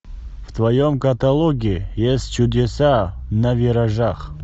в твоем каталоге есть чудеса на виражах